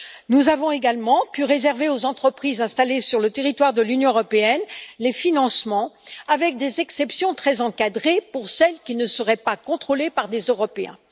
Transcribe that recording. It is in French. Nous avons également pu réserver aux entreprises installées sur le territoire de l'Union européenne les financements avec des exceptions très encadrées pour celles qui ne seraient pas contrôlées par des Européens.